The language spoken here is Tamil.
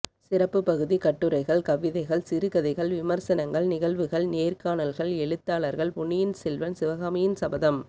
சிறப்புப் பகுதி கட்டுரைகள் கவிதைகள் சிறுகதைகள் விமர்சனங்கள் நிகழ்வுகள் நேர்காணல்கள் எழுத்தாளர்கள் பொன்னியின் செல்வன் சிவகாமியின் சபதம்